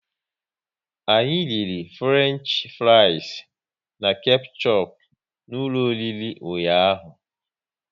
Anyị riri Fruenchfries na kechup n'ụlọ oriri ụnyaahụ